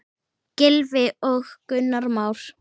Gylfi og Gunnar Már.